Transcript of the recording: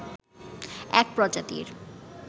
এক প্রজাতির